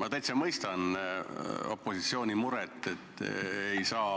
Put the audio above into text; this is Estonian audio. Ma täitsa mõistan opositsiooni muret, et ei saa